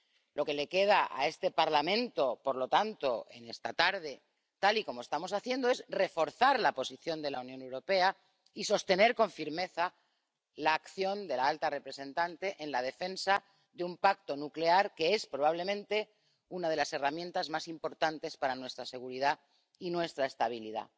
Lo que le queda a este Parlamento, por lo tanto, en esta tarde, tal y como estamos haciendo, es reforzar la posición de la Unión Europea y sostener con firmeza la acción de la alta representante en la defensa de un pacto nuclear que es, probablemente, una de las herramientas más importantes para nuestra seguridad y nuestra estabilidad.